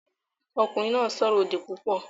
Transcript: Ọkùnrin náà ń sọ̀rọ̀ òdì púpọ̀